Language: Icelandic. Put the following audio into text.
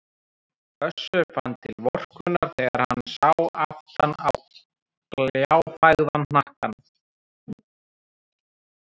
Össur fann til vorkunnar þegar hann sá aftan á gljáfægðan hnakkann.